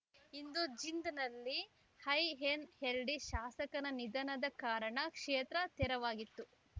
ಇನ್ನು ಜಿಂದ್‌ನಲ್ಲಿ ಐಎನ್‌ಎಲ್‌ಡಿ ಶಾಸಕನ ನಿಧನದ ಕಾರಣ ಕ್ಷೇತ್ರ ತೆರವಾಗಿತ್ತು